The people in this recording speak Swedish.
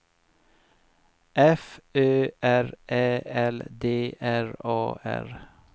F Ö R Ä L D R A R